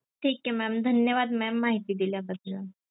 ठीक हे mam धन्यवाद mam माहिती दिल्या बद्दल.